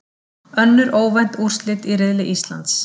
Önnur óvænt úrslit í riðli Íslands